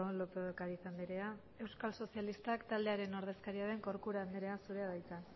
lópez de ocariz andrea euskal sozialistak taldearen ordezkaria den corcuera andrea zurea da hitza